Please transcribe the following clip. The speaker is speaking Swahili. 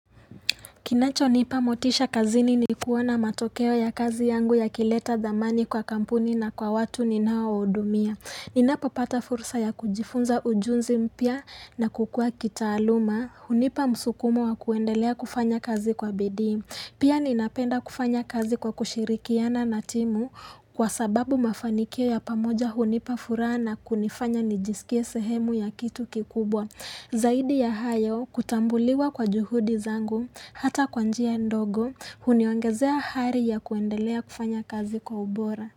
Kinacho nipa motisha kazini ni kuona matokeo ya kazi yangu yakileta dhamani kwa kampuni na kwa watu ninao hudumia. Ninapo pata fursa ya kujifunza ujuzi mpya na kukua kitaaluma. Hunipa msukumo wa kuendelea kufanya kazi kwa bidii. Pia ninapenda kufanya kazi kwa kushirikiana na timu kwa sababu mafanikio ya pamoja hunipa furaha na kunifanya nijisikia sehemu ya kitu kikubwa. Zaidi ya hayo kutambuliwa kwa juhudi zangu hata kwa njia ndogo huniongezea hari ya kuendelea kufanya kazi kwa ubora.